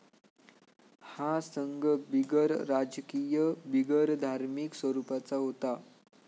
हा संघ बिगरराजकीय, बिगरधार्मिक स्वरूपाचा होता.